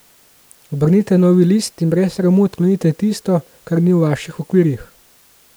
Obrnite novi list in brez sramu odklonite tisto, kar ni v vaših okvirjih.